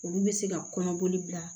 Olu bɛ se ka kɔnɔboli bila